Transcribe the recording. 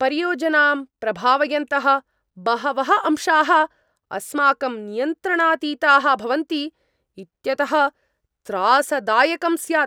परियोजनां प्रभावयन्तः बहवः अंशाः अस्माकं नियन्त्रणातीताः भवन्ति इत्यतः त्रासदायकं स्यात्।